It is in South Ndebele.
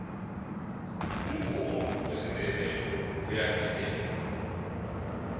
umvumo wesinndebele uyagidelwa